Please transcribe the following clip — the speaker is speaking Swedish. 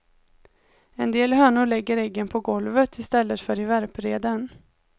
En del hönor lägger äggen på golvet i stället för i värpreden.